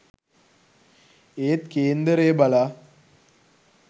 ඒත් කේන්දරය බලා